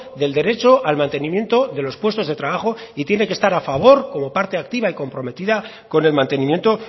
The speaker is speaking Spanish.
del derecho al mantenimiento de los puestos de trabajo y tiene que estar a favor como parte activa y comprometida con el mantenimiento